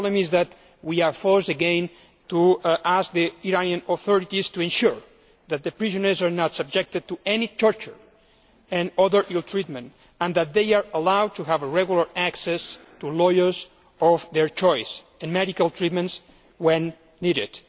The problem is that we are being forced once again to ask the Iranian authorities to ensure that prisoners are not subjected to any torture or other ill treatment and that they are allowed to have regular access to lawyers of their choice and medical treatment when needed.